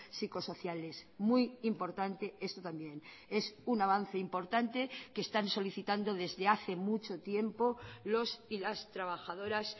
psicosociales muy importante esto también es un avance importante que están solicitando desde hace mucho tiempo los y las trabajadoras